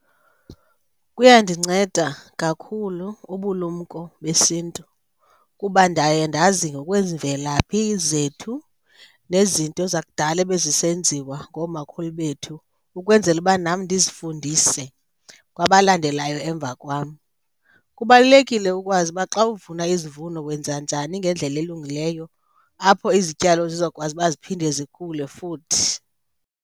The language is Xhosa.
Kuyandinceda kakhulu ubulumko besiNtu kuba ndaye ndazi ngokwemvelaphi zethu nezinto zakudala ebezisenziwa ngoomakhulu bethu ukwenzela uba nam ndizifundise kwabalandelayo emva kwam. Kubalulekile ukwazi uba xa uvuna izivuno wenza njani ngendlela elungileyo, apho izityalo zizokwazi uba ziphinde zikhule futhi.